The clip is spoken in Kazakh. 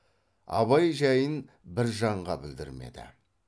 абай жәйін бір жанға білдірмеді